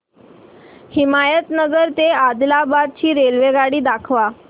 हिमायतनगर ते आदिलाबाद ची रेल्वेगाडी दाखवा